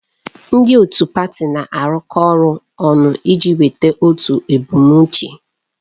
Ndị otu pati na-arụkọ ọrụ ọnụ iji nweta otu ebumnuche.